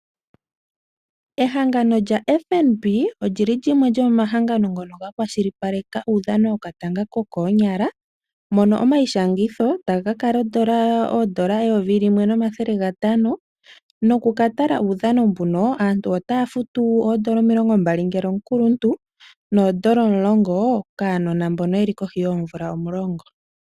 Ehangano lya FNB olyili lyimwe lyomomahangano ngono ga kwashilipaleka uudhano wokatanga kokonyala mono omayishangitho taga kakala oondola eyovi limwe nomathele gatano noku katala uudhano mbuno aantu otaya futu oondola omilongo mbali ngele omukuluntu noondola omulongo kaanona mbono yeli kohi yoomvula omulongo.